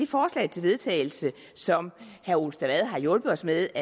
forslag til vedtagelse som herre ole stavad har hjulpet os med